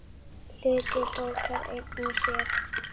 Hluti bókar einn og sér.